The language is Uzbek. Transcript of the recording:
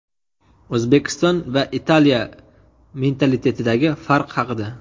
O‘zbekiston va Italiya mentalitetidagi farq haqida.